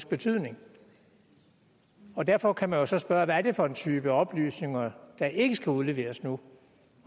betydning derfor kan man jo så spørge hvad det er for en type oplysninger der ikke skal udleveres nu